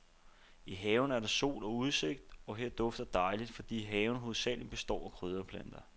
I haven er der sol og udsigt, og her dufter dejligt, fordi haven hovedsagelig består af krydderplanter.